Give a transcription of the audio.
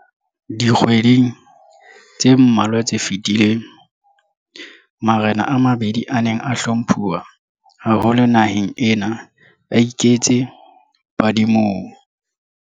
Dikgweding tse mmalwa tse fetileng, marena a mabedi a neng a hlomphuwa haholo naheng ena a iketse badimong.